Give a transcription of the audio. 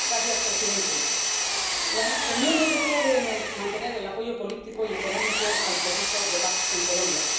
Señor presidente, la Unión Europea debe mantener el apoyo político y económico al proceso de paz en Colombia.